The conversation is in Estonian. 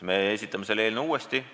Me esitame selle eelnõu uuesti.